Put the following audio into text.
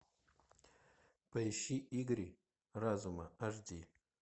поищи игры разума аш ди